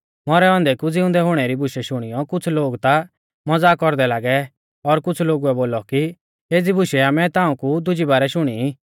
मौरै औन्दै कु ज़िउंदै हुणै री बुशै शुणियौ कुछ़ लोग ता मज़ाक कौरदै लागै और कुछ़ लोगुऐ बोलौ कि एज़ी बुशै आमै ताऊं कु दुजी बारै शुणी ई